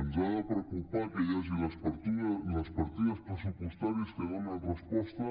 ens ha de preocupar que hi hagi les partides pressupostàries que donen resposta